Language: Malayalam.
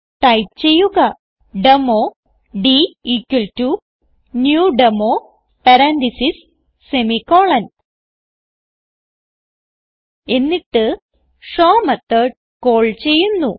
ടൈപ്പ് ചെയ്യുക demo dnew demo parenthesis semicolon എന്നിട്ട് ഷോ മെത്തോട് കാൾ ചെയ്യുന്നു